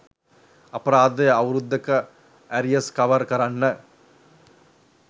අපරාදේ අවුරුද්දක ඇරියස් කවර් කරන්න